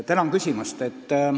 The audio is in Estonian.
Tänan küsimast!